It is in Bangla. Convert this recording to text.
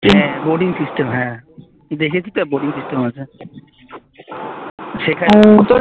হ্যাঁ boating system হ্যাঁ দেখেছি তো boating system আছে সেটা